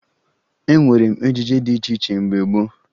E mere ejije dị iche iche mgbe gboo